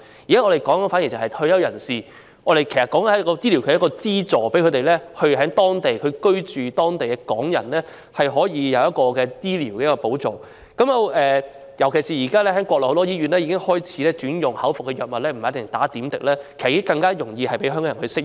現在我們討論的是對退休人士的醫療資助，讓在內地居住的港人可獲得醫療保障，尤其是現時國內很多醫院已開始轉用口服藥物，不一定要打點滴，讓香港人更容易適應。